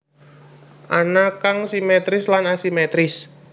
Ana kang simétris lan asimétris